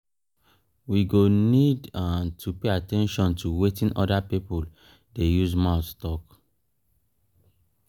we go need to pay at ten tion to wetin oda pipo dey use mouth talk